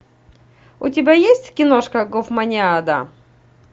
у тебя есть киношка гофманиада